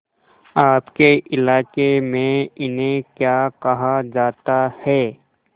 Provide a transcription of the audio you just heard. आपके इलाके में इन्हें क्या कहा जाता है